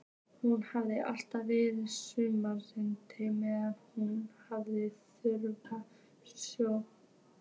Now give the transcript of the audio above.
Hún hafi alltaf verið saumandi meðan hún hafði fulla sjón.